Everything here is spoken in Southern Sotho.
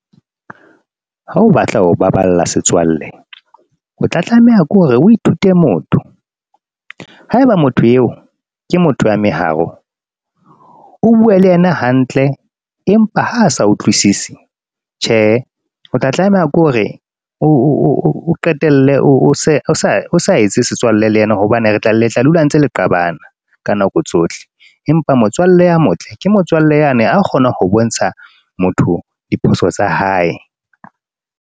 Ha o batla ho baballa setswalle, o tla tlameha ke hore o ithute motho haeba motho eo ke motho ya meharo. O bue le yena hantle, empa ha sa utlwisisi tjhe, o tla tlameha ke hore o qetelle o sa etse setswalle le yena hobane le tla dula ntse le qabana ka nako tsohle. Empa motswalle ya motle ke motswalle yane a kgona ho bontsha motho diphoso tsa hae.